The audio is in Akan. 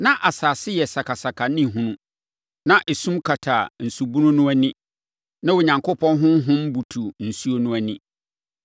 Na asase yɛ sakasaka ne hunu. Na esum kata nsubunu no ani. Na Onyankopɔn honhom butu nsuo no ani.